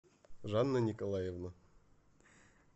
жанна николаевна